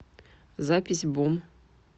запись бум